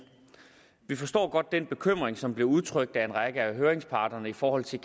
forstår godt den bekymring som blev udtrykt af en række af høringsparterne i forhold til